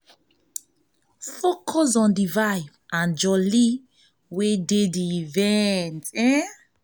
focus on di vibe and jolly wey dey for di event